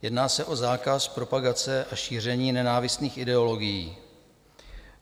Jedná se o zákaz propagace a šíření nenávistných ideologií.